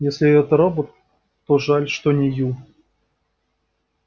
если это робот то жаль что не ю